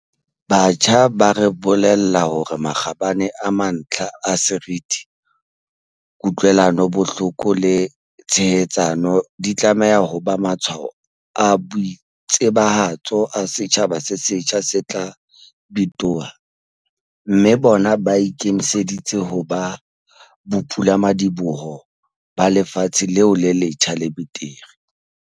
Batjha ba re bolella hore makgabane a mantlha a seriti, ku-tlwelanobohloko le tshehetsano di tlameha ho ba matshwao a boitsebahatso a setjhaba se setjha se tla bitoha, mme bona ba ikemiseditse ho ba bopulamadi-boho ba lefatshe leo le letjha le betere.